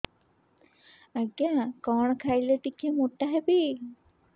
ଆଜ୍ଞା କଣ୍ ଖାଇଲେ ଟିକିଏ ମୋଟା ହେବି